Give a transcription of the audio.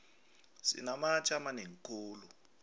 sinamatje amanengi khulu